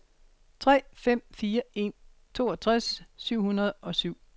tre fem fire en toogtres syv hundrede og syv